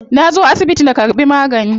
Na zo asibiti na karbi magani.